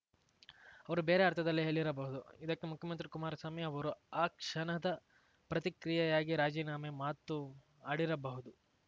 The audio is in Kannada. ಅವರು ಬೇರೆ ಅರ್ಥದಲ್ಲಿ ಹೇಳಿರಬಹುದು ಇದಕ್ಕೆ ಮುಖ್ಯಮಂತ್ರಿ ಕುಮಾರಸ್ವಾಮಿ ಅವರು ಆ ಕ್ಷಣದ ಪ್ರತಿಕ್ರಿಯೆಯಾಗಿ ರಾಜೀನಾಮೆ ಮಾತು ಆಡಿರಬಹುದು